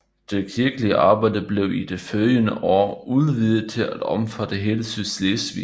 Det kirkelige arbejde blev i de følgende år udvidet til at omfatte hele Sydslesvig